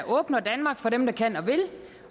åbner danmark for dem der kan og vil